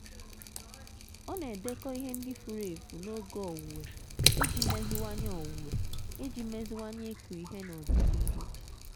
ọ na-edekọ ihe ndị furu efu n'oge owuwe iji meziwanye owuwe iji meziwanye ịkụ ihe n'ọdịnihu.